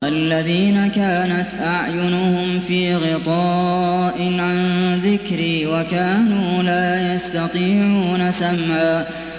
الَّذِينَ كَانَتْ أَعْيُنُهُمْ فِي غِطَاءٍ عَن ذِكْرِي وَكَانُوا لَا يَسْتَطِيعُونَ سَمْعًا